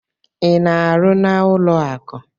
Ị na-arụ n'ụlọ akụ?